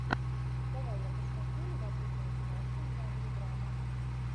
давай я посмотрю любопытную киношку в жанре драма